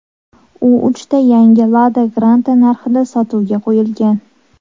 U uchta yangi Lada Granta narxida sotuvga qo‘yilgan.